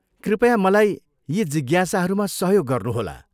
कृपया मलाई यी जिज्ञासाहरूमा सहयोग गर्नुहोला।